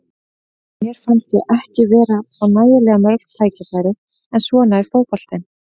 Mér fannst ég ekki vera að fá nægilega mörg tækifæri, en svona er fótboltinn.